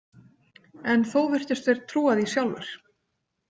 En þó virtust þeir trúa því sjálfir.